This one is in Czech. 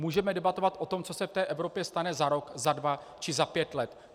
Můžeme debatovat o tom, co se v té Evropě stane za rok, za dva či za pět let.